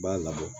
I b'a labɔ